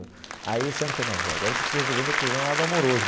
Aí, esse ano, eu falei não, agora eu preciso resolver meu problema do lado amoroso.